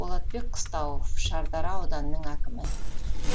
болатбек қыстауов шардара ауданының әкімі